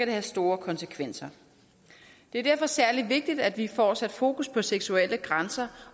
det have store konsekvenser det er derfor særlig vigtigt at vi får sat fokus på seksuelle grænser